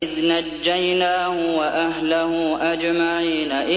إِذْ نَجَّيْنَاهُ وَأَهْلَهُ أَجْمَعِينَ